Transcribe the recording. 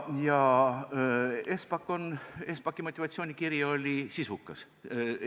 Espaki motivatsioonikiri oli sisukas.